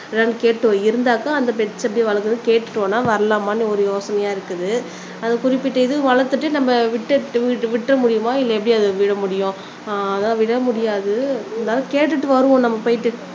இருந்தாக்கா அந்த பெட்ஸ் எப்படி வளர்க்கிறதுன்னு கேட்டுட்டு வேணும்னா வரலாமான்னு ஒரு யோசனையா இருக்குது அது குறிப்பிட்ட இது வளர்த்துட்டு நம்ம விட்டு விட்டுற முடியுமா இல்ல எப்படி அதை விட முடியும் அதை விடமுடியாது இருந்தாலும் கேட்டுக்கு வருவோம் நம்ம போயிட்டு